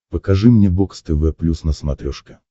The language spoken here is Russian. покажи мне бокс тв плюс на смотрешке